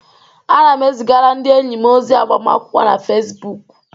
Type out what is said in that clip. Ana m ezigara ndị enyi m ozi agbamakwụkwọ m na Fesibuuku.